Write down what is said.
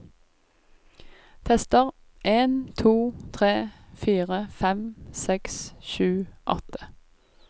Tester en to tre fire fem seks sju åtte